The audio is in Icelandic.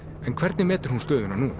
en hvernig metur hún stöðuna nú